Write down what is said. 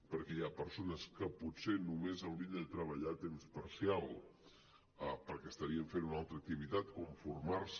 perquè hi ha persones que potser només haurien de treballar a temps parcial perquè estarien fent una altra activitat com formar se